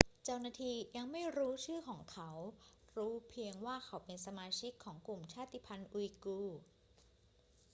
เจ้าหน้าที่ยังไม่รู้ชื่อของเขา รู้เพียงว่าเขาเป็นสมาชิกของกลุ่มชาติพันธุ์อุยกูร์